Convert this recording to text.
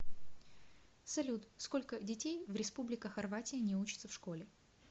салют сколько детей в республика хорватия не учатся в школе